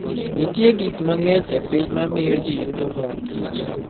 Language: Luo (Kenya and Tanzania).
Nitie gik mang'eny e piny mamiyo ji yudo mor kich.